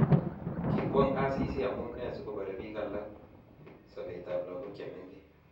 Kikwong Asisi amune asikobarei bik alak sobetab lagok che mengech